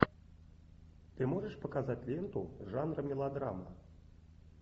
ты можешь показать ленту жанра мелодрама